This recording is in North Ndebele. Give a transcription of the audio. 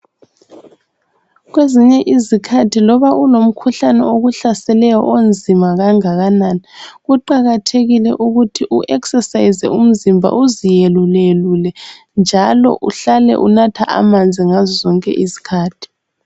Kwezinye izikhathi loba ulomkhuhlane okuhlaseleyo onzima kangakanani, kuqakathekile ukuthi u eksesayize umzimba uziyeluleyelule njalo uhlale unatha amanzi ngazo zonke izikhathi.